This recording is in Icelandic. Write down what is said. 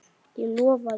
Ég lofaði.